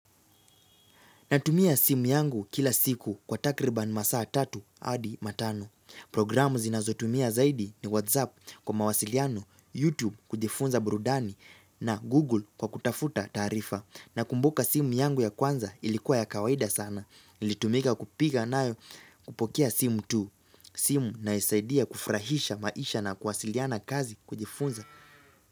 Natumia simu yangu kila siku kwa takribani masaa tatu adi matano. Programu zinazotumia zaidi ni WhatsApp kwa mawasiliano, YouTube kujifunza burudani na Google kwa kutafuta taarifa. Na kumbuka simu yangu ya kwanza ilikuwa ya kawaida sana. Nilitumika kupiga nayo kupokea simu tu. Simu naisaidia kufurahisha maisha na kuwasiliana kazi kujifunza.